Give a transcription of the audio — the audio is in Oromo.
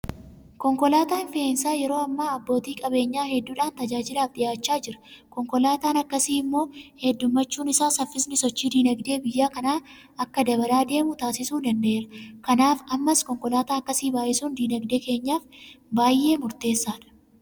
Konkolaataan fe'insaa yeroo ammaa abbootii qabeenyaa hedduudhaan tajaajilaaf dhiyaachaa jira. Konkolaataan akkasii immoo heddummachuun isaa saffisni sochii diinagdee biyya kanaa akka dabalaa deemu taasisuu danda'eera. Kanaaf ammas konkolaataa akkasii baay'isuun diinagdee keenyaaf baay'ee murteessaadha.